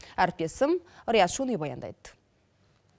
әріптесім риат шони баяндайды